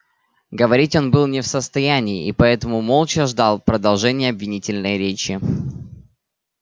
говорить он был не в состоянии и поэтому молча ждал продолжения обвинительной речи